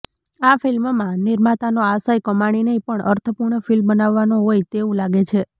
આ ફિલ્મમાં નિર્માતાનો આશય કમાણી નહીં પણ અર્થપૂર્ણ ફિલ્મ બનાવવાનો હોય તેવું લાગે છે